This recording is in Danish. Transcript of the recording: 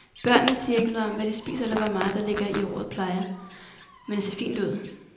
Børnene siger ikke noget om hvad de spiser eller hvor meget der ligger i ordet plejer, men det ser fint ud.